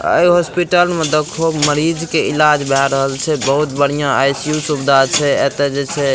ए hospital में देखो मरीज के इलाज भै रहल छे बहुत बढ़िया आई.सी.यु. सुविधा छे एते जे छे --